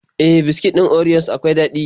E, biskit ɗin orios akwai daɗi.